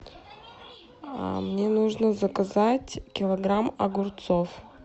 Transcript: мне нужно заказать килограмм огурцов